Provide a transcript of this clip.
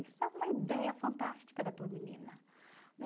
Isso é uma ideia fantástica da tua menina. Né?